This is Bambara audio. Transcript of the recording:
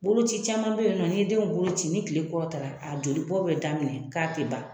Bolo ci caman be yen nɔ ni denw bolo ci ni kile kɔrɔ ta la, a jolibɔ be daminɛ k'a tɛ ban.